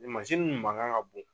Nin mansin nu mankan ka bon.